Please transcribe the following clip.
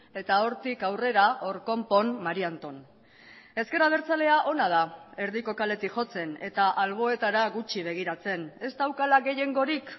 eta hortik aurrera hor konpon mari anton ezker abertzalea ona da erdiko kaletik jotzen eta alboetara gutxi begiratzen ez daukala gehiengorik